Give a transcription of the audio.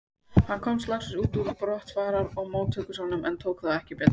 Hann komst loksins út úr brottfarar og móttökusalnum, en þá tók ekki betra við.